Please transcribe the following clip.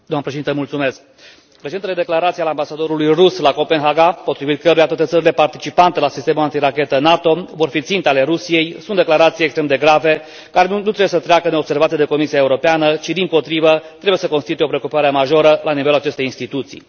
Doamnă președinte, recentele declarații ale ambasadorului rus la Copenhaga, potrivit căruia toate țările participante la sistemul antirachetă NATO vor fi ținte ale Rusiei sunt declarații extrem de grave, care nu trebuie să treacă neobservate de Comisia Europeană, ci, dimpotrivă, trebuie să constituie o preocupare majoră la nivelul acestei instituții.